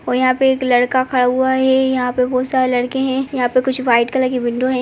और यहाँ पे एक लड़का खड़ा हुआ है। यहाँ पे बोहोत सारे लड़के हैं। यहाँ पे कुछ वाइट कलर की विंडो हैं।